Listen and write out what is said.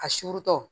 A suurutɔ